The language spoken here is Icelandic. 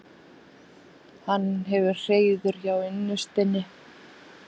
Hann hefur hreiður hjá unnustunni.